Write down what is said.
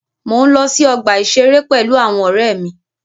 Mo ǹ lọ sí ọgbà ìṣeré pẹ̀lú àwọn ọ̀rẹ́ mi.